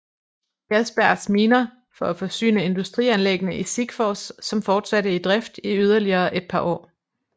Persbergs miner for at forsyne industrianlæggene i Sikfors som fortsatte i drift i yderligere et par år